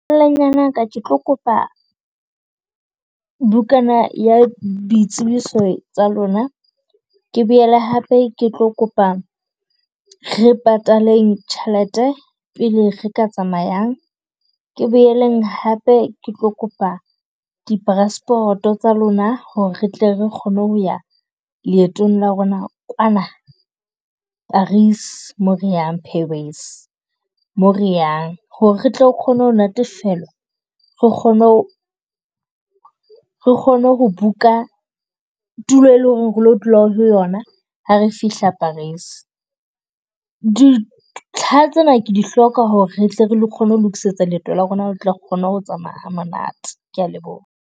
Ya ka ke tlo kopa bukana ya boitsebiso tsa lona, ke boele hape ke tlo kopa re pataleng tjhelete pele re ka tsamayang. Ke boeleng hape ke tlo kopa dipraspoto tsa lona ho re re tle re kgone ho ya leetong la rona kwana Paris, mo re yang Paris mo re yang. Ho re re tle re kgone ho natefelwa. Re kgone re kgone ho book-a tulo e leng ho re re lo dula ho yona ha re fihla Paris. Dintlha tsena ke di hloka ho re re tle re kgone ho lokisetsa leeto la rona re tla kgone ho tsamaya ha monate, ke ya leboha.